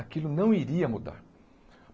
Aquilo não iria mudar.